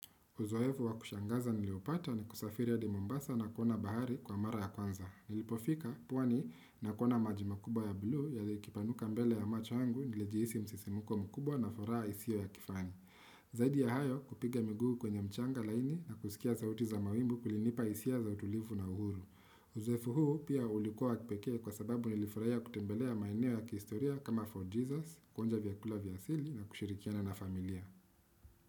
Uzoefu wa kushangaza niliopata ni kusafiri hadi mombasa na kuona bahari kwa mara ya kwanza nilipofika pwani na kuona maji makubwa ya bluu yakipanuka mbele ya macho yangu nilijihisi msisimko mkubwa na furaha isiyo ya kifani zaidi ya hayo kupiga miguu kwenye mchanga laini na kusikia sauti za mawimbi kulinipa hisia za utulivu na uhuru uzoefu huu pia ulikuwa wa kipeke kwa sababu nilifurahia kutembelea maeneo ya kihistoria kama fort Jesus kuonja vyakula vya asili na kushirikiana na familia.